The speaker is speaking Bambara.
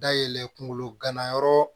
Dayɛlɛ kungolo ganayɔrɔ